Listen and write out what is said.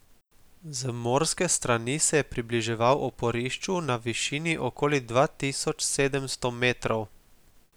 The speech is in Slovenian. Z morske strani se je približeval oporišču na višini okoli dva tisoč sedemsto metrov.